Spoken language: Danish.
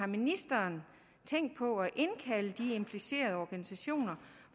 ministeren har tænkt på at indkalde de implicerede organisationer